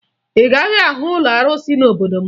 Ị gaghị ahụ ụlọ arụsị n'obodo m